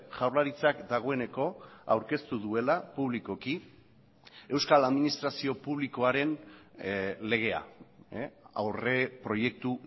jaurlaritzak dagoeneko aurkeztu duela publikoki euskal administrazio publikoaren legea aurreproiektu